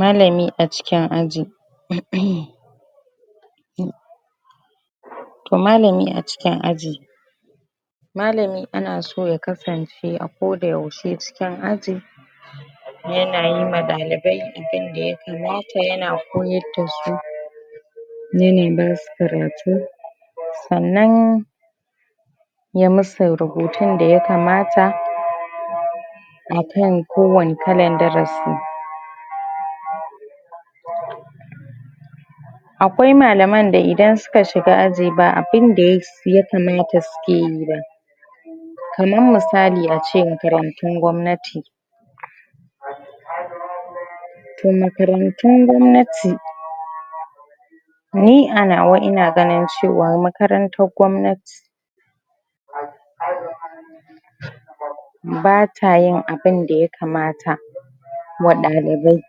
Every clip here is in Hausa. malami a cikin aji toh malami a cikn aji malami ana so ya kasance a ko da yaushe cikin aji yana yi ma dalibai abinda ya kamata yana koyar dasu yana basu karatu sannan ya musu rubutun da ya kamata akan kowane kalan darasi akwae malaman da idan suka shiga aji ba abinda ya kamata suke yi ba kamar misali ace makarantun gwamnati da makarantun gwamnati ni a nawa ina ganin cewa makarantar gwamnati ba tayin abinda ya kamata wadanda dai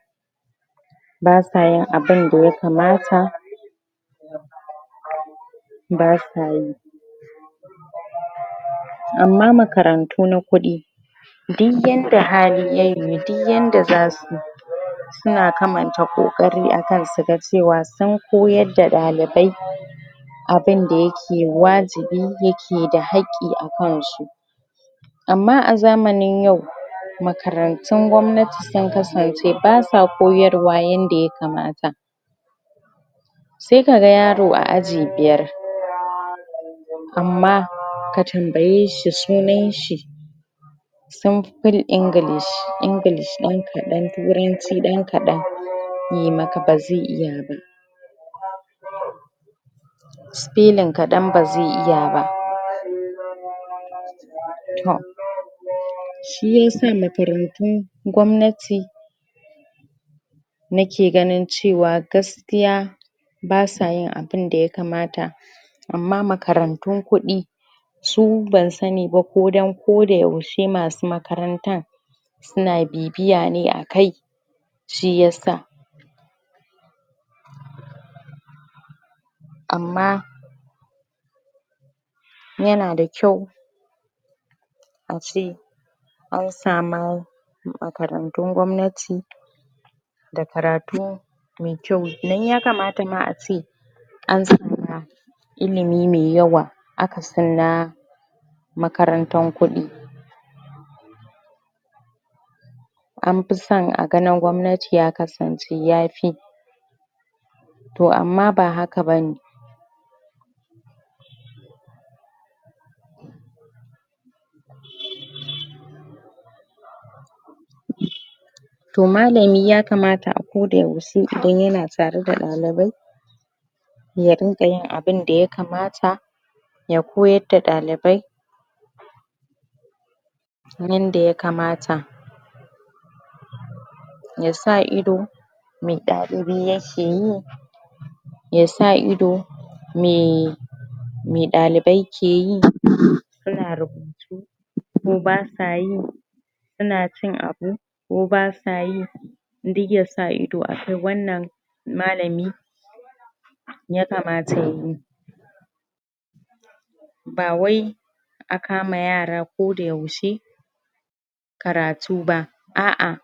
basa yin abinda ya kamata basa yin amma makarantu na kudi dik yadda hali ya yiwu dik yadda za ayi suna kamanta kokari akan su ga cewa sun koyar da dalibai abinda yake wajibi yake hakki akan su amma a zamanin yau makarantun gwamnati sun kasance basa koyarwa yadda ya kamata sai kaga yaro a aji biyar amma ka tambaye shi sunan shi simple english english dan kadan turanci dan kadan yayi maka bazai iya ba spelling kadan bazai iya ba tom shi yasa makarantun gwamnati nake ganin cewa gaskiya basa yin abinda ya kamata amma makarantun kudi su ban sani ba ko dan ko da yaushe masu makarantan suna bibiya ne akai shi yasa amma yana da kyau ace an samar da makaratun gwamnati da karatu mai kyau dan ya kamata ma ace an samu ma ilimi mai yawa akasin na makaratun kudi an fi san a ga na gwamnati ya kasance yafi toh amma ba haka bane toh malami ya kamata a koda yaushe idan yana da dalibai ya rinka yin abinda ya kamata ya koyar da dalibai yanda ya kamata yasa ido me dalibi yake yi yasa ido me mai dalibai suke yi suna rubutu ko basa yi suna cin abu ko basa yi dik yasa ido a har wannan malami ya kamata yayi ba wai a kama yara ko da yaushe karatu ba a a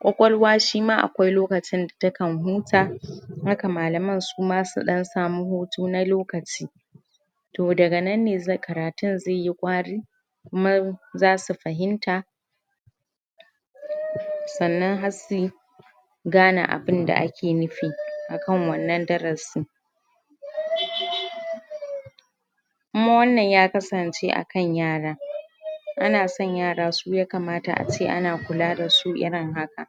kwakwalwa shi ma akwae lokacin da ta kan huta haka su ma malaman su dan sami hutu na lokaci toh daga nan ne karatun zai yi kwari kuma zasu fahimta sannan har suyi gane abinda ake nufi akan wannan darasin kuma wannan ya kasance akan yara ana san yara su ya kamata ace ana kula dasu irin haka